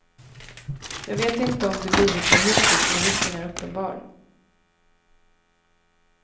Jag vet inte om det blivit så hittills men risken är uppenbar.